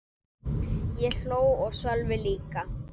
Ég hló og Sölvi líka.